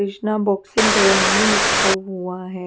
Krishna boxing के लिखा हुआ है।